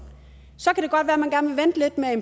så